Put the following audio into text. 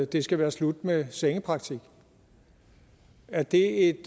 det skal være slut med sengepraktik er det et